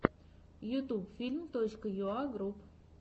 ютьюб фильм точка юа групп